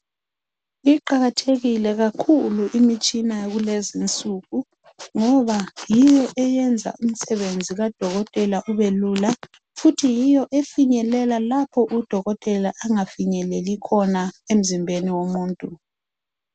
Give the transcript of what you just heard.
Iqakathekile kakhulu imitshina yakulezi insuku ngoba yiyo eyenza umsebenzi kadokotela ubelula, futhi yiyo efinyelela lapho udokotela angafinyeleli khona emzimbeni womuntu.